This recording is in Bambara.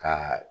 Ka